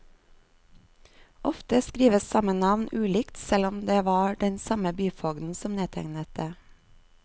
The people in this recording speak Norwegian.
Ofte skrives samme navn ulikt selv om det var den samme byfogden som nedtegnet det.